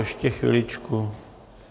Ještě chviličku...